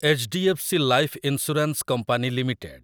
H D F C life insurance company limited